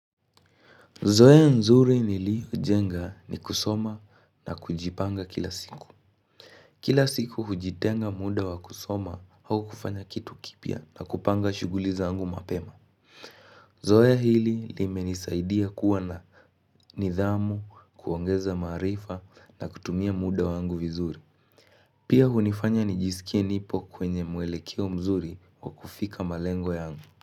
Zoea nzuri nilijenga ni kusoma na kujipanga kila siku Kila siku hujitenga muda wa kusoma au kufanya kitu kipya na kupanga shughuli zangu mapema Zoea hili limenisaidia kuwa na nidhamu, kuongeza maarifa na kutumia muda wangu vizuri Pia hunifanya nijisikie nipo kwenye mwelekeo mzuri wa kufika malengo yangu.